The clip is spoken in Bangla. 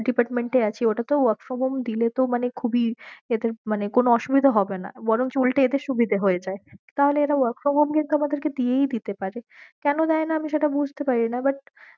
department এ আছি, ও টা তেও work from home দিলে তো মানে খুব ই এদের মানে কোনো অসুবিধা হবে না বরঞ্চ উল্টে এদের সুবিদে হায়ে যাবে তাহলে এরা work from home কিন্তু আমাদের কে দিয়েই দিতে পারে কেন দায়ে না আমি সেটা বুঝতে পারিনা but দিয়েই দিতে পারে